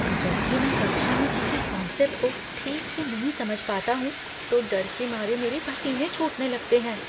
जब भी मैं कक्षा में किसी कॉन्सेप्ट को ठीक से नहीं समझ पाता हूँ तो डर के मारे मेरे पसीने छूटने लगते हैं।